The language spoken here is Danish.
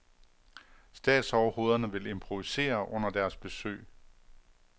Statsoverhovederne vil improvisere under deres besøg.